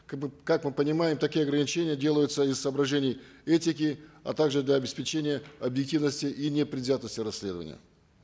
как мы понимаем такие ограничения делаются из соображений этики а также для обеспечения объективноти и непредвзятости расследования